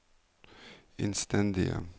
innstendige